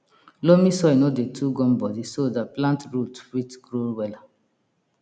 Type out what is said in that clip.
loamy soil no dey too gumbodi so dat plant root fit grow wella